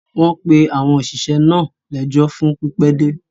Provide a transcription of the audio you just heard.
wọ́n pe àwọn òṣìṣẹ́ náà lẹ́jọ́ fún pípẹ́dé.